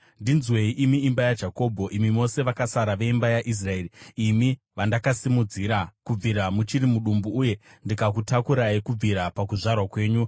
“Ndinzwei, imi imba yaJakobho, imi mose vakasara veimba yaIsraeri, imi vandakasimudzira kubvira muchiri mudumbu, uye ndikakutakurai kubvira pakuzvarwa kwenyu.